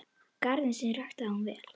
Garðinn sinn ræktaði hún vel.